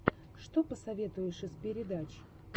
что посоветуешь из передач